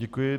Děkuji.